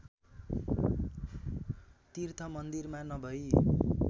तीर्थ मन्दिरमा नभई